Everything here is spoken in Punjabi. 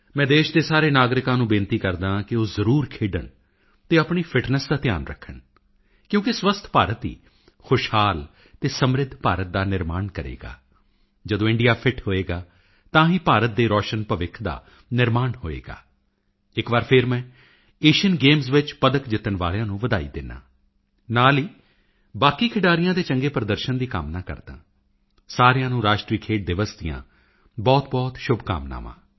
ਮੈਂ ਦੇਸ਼ ਦੇ ਸਾਰੇ ਨਾਗਰਿਕਾਂ ਨੂੰ ਤਾਕੀਦ ਕਰਦਾ ਹਾਂ ਕਿ ਉਹ ਜ਼ਰੂਰ ਖੇਡਣ ਅਤੇ ਆਪਣੀ ਫਿਟਨੈੱਸ ਦਾ ਧਿਆਨ ਰੱਖਣ ਕਿਉਕਿ ਸਵੱਸਥ ਭਾਰਤ ਹੀ ਖੁਸ਼ਹਾਲ ਅਤੇ ਸਮਰਿੱਧ ਭਾਰਤ ਦਾ ਨਿਰਮਾਣ ਕਰੇਗਾ ਜਦੋਂ ਇੰਡੀਆ ਫਿਟ ਹੋਵੇਗਾ ਤਾਂ ਹੀ ਭਾਰਤ ਦੇ ਰੋਸ਼ਨ ਭੱਵਿਖ ਦਾ ਨਿਰਮਾਣ ਹੋਵੇਗਾ ਇੱਕ ਵਾਰੀ ਫਿਰ ਮੈਂ ਏਸ਼ੀਅਨ ਗੇਮਸ ਵਿੱਚ ਮੈਡਲ ਜਿੱਤਣ ਵਾਲਿਆਂ ਨੂੰ ਵਧਾਈ ਦਿੰਦਾ ਹਾਂ ਨਾਲ ਹੀ ਬਾਕੀ ਖਿਡਾਰੀਆਂ ਦੇ ਚੰਗੇ ਪ੍ਰਦਰਸ਼ਨ ਦੀ ਕਾਮਨਾ ਕਰਦਾ ਹਾਂ ਸਾਰਿਆਂ ਨੂੰ ਰਾਸ਼ਟਰੀ ਖੇਡ ਦਿਵਸ ਦੀਆਂ ਬਹੁਤਬਹੁਤ ਸ਼ੁਭਕਾਮਨਾਵਾਂ